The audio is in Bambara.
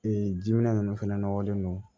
Ee jiminɛn ninnu fɛnɛ nɔgɔlen don